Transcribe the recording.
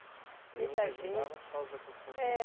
Muita gente E aí vocês mudavam por causa dessas constru É